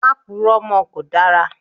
Má puró mọ́ kò dára!